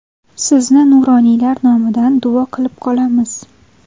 Sizni nuroniylar nomidan duo qilib qolamiz.